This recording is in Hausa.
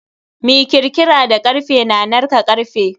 Mi kirkira da karfe na narka karfe.